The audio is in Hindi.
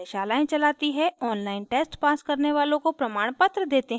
online test pass करने वालों को प्रमाणपत्र देते हैं